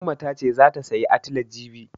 Umma ta ce zata sayi atile jibi.